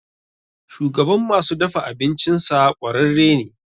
Shugaban masu dafa abincinsa ƙwararre ne.